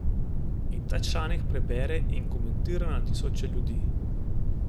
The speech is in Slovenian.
In tak članek prebere in komentira na tisoče ljudi?